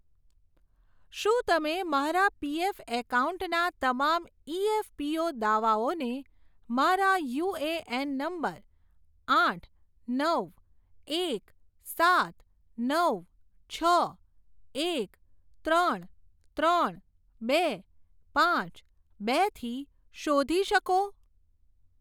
શું તમે મારા પીએફ એકાઉન્ટના તમામ ઇએફપીઓ દાવાઓને મારા યુએએન નંબર આઠ નવ એક સાત નવ છ એક ત્રણ ત્રણ બે પાંચ બેથી શોધી શકો?